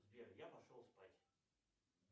сбер я пошел спать